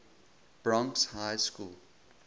bronx high school